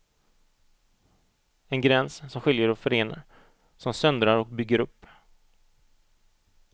En gräns som skiljer och förenar, som söndrar och bygger upp.